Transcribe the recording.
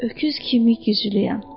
Öküz kimi güclüyəm.